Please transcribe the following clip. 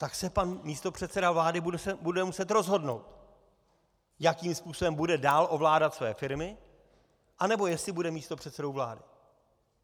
Tak se pan místopředseda vlády bude muset rozhodnout, jakým způsobem bude dál ovládat své firmy, anebo jestli bude místopředsedou vlády.